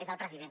és el president